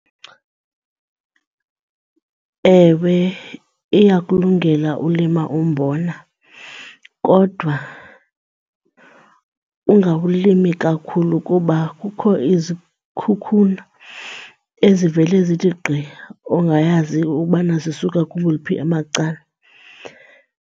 Ewe, iyakulungela ulima umbona kodwa ungawulimi kakhulu kuba kukho izikhukhula ezivele zithi gqi ongayazi ubana zisuka kowuphi amacala.